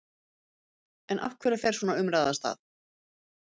En af hverju fer svona umræða af stað?